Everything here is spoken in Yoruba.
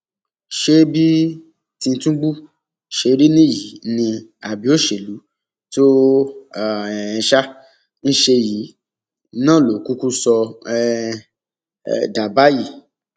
ṣé bí tìtúngbù ṣe rí nìyí ni àbí òṣèlú tó um ń ṣe yìí náà ló kúkú sọ ọ um dà báyìí